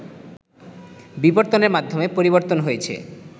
বিবর্তনের মাধ্যমে পরিবর্তন হয়েছে